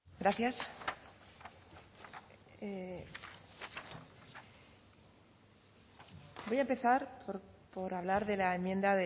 gracias voy a empezar por hablar de la enmienda